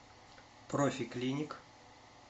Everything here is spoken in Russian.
профи клиник